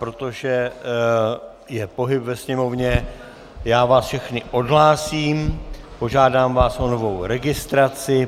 Protože je pohyb ve sněmovně, já vás všechny odhlásím, požádám vás o novou registraci.